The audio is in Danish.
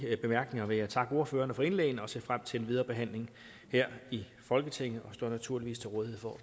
bemærkninger vil jeg takke ordførerne for indlæggene og se frem til den videre behandling her i folketinget og jeg står naturligvis til rådighed for